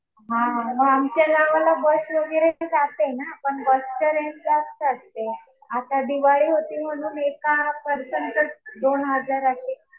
हा मग आमच्या गावाला बस वगैरे नाही जाते ना. पण बसच्या कुठं असते. आता दिवाळी होती म्हणून एका पर्सनच दोन हजार